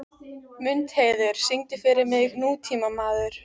Mundheiður, syngdu fyrir mig „Nútímamaður“.